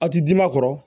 A ti di ma kɔrɔ